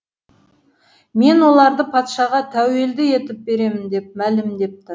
мен оларды патшаға тәуелді етіп беремін деп мәлімдепті